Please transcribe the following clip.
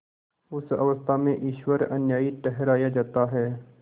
उस अवस्था में ईश्वर अन्यायी ठहराया जाता है